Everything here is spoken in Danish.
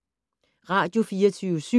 Radio24syv